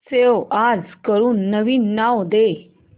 save as करून नवीन नाव दे